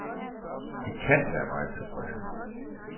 De kan være meget tilfredse.